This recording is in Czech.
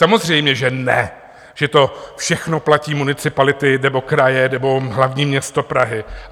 Samozřejmě že ne, že to všechno platí municipality nebo kraje nebo hlavní město Praha.